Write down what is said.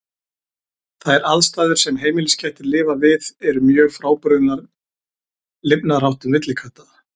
Þær aðstæður sem heimiliskettir lifa við eru mjög frábrugðnar lifnaðarháttum villikatta.